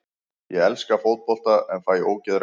Ég elska fótbolta en fæ ógeð reglulega.